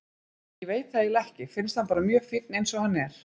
Ég veit það eiginlega ekki, finnst hann bara mjög fínn eins og hann er.